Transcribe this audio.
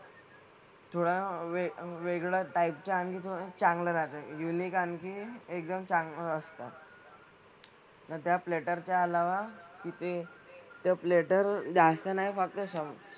थोड्या वेग वेगळ्या type च्या आणि थोड्या चांगल्या राहतात. Unique आणि एकदम चांगलं असतं. तर त्या platter च्या अलावा तिथे त्या platter जास्त नाही वापरू शकत.